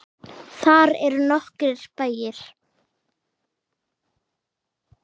Þar eru nokkrir bæir.